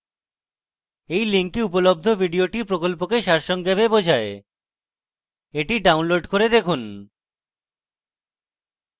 এই link উপলব্ধ video প্রকল্পকে সারসংক্ষেপে বোঝায় the download করে দেখুন